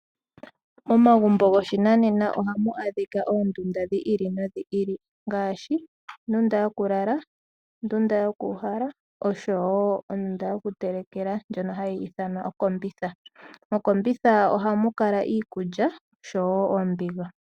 Momagumbo goshinanena ohamu adhika oondunda dhi ili nodhi ili. Ngaashi, ondunda yokulala, ondunda yoku uhala, noshowo ondunda yokutelekela, ndjono hayi ithanwa okombitha. Mokombitha ohamu kala iikulya, noshowo oombiga.